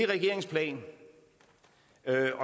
jo